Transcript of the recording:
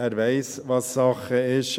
Er weiss, was Sache ist.